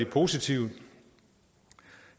positive